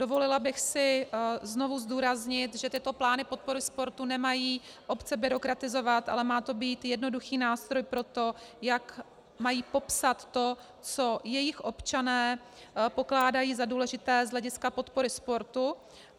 Dovolila bych si znovu zdůraznit, že tyto plány podpory sportu nemají obce byrokratizovat, ale má to být jednoduchý nástroj pro to, jak mají popsat to, co jejich občané pokládají za důležité z hlediska podpory sportu.